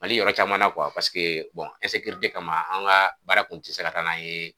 MALI yɔrɔ caman kama an ka baara kun ti se ka ka taa n'an ye.